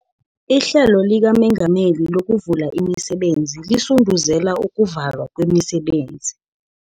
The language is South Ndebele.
IHlelo LikaMengameli LokuVula ImiSebenzi Lisunduzela Ukuvulwa kwemisebenzi